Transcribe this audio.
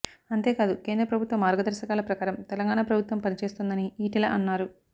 అంతేకాదు కేంద్ర ప్రభుత్వ మార్గదర్శకాల ప్రకారం తెలంగాణ ప్రభుత్వం పనిచేస్తోందని ఈటెల అన్నారు